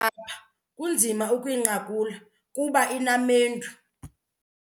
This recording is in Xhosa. apha kunzima ukuyinqakula kuba inamendu.